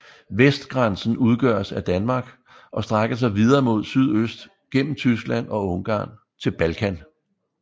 Vestgrænsen udgøres af Danmark og strækker sig videre mod sydøst gennem Tyskland og Ungarn til Balkan